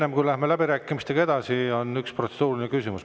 Enne kui läheme läbirääkimistega edasi, on üks protseduuriline küsimus.